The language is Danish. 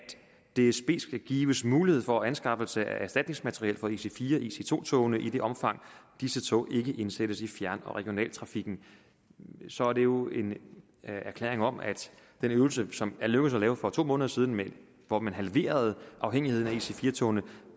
dsb skal gives mulighed for anskaffelse af erstatningsmateriel for ic4 og ic2 togene i det omfang disse tog ikke indsættes i fjern og regionaltrafikken så er det jo en erklæring om at den øvelse som det lykkedes at lave for to måneder siden hvor man halverede afhængigheden af ic4 togene